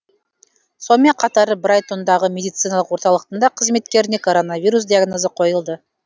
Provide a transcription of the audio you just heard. сонымен қатар брайтондағы медициналық орталықтың да қызметкеріне коронавирус диагнозы қойылды